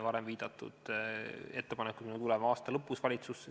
Varem viidatud ettepanekuga tuleme aasta lõpus valitsusse.